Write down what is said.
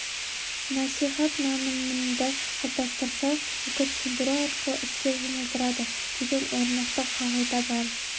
насихат нанымыңды қалыптастырса үгіт сендіру арқылы іске жұмылдырады деген орнықты қағида бар